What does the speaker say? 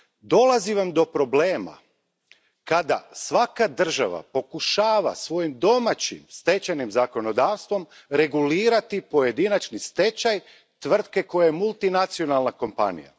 Dolazi do problema kada svaka država pokušava svojim domaćim stečajnim zakonodavstvom regulirati pojedinačni stečaj tvrtke koja je multinacionalna kompanija.